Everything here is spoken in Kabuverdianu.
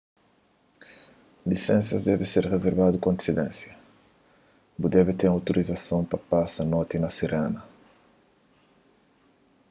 lisensas debe ser rizervadu ku antisidénsia bu debe ten un outorizason pa pasa noti na sirena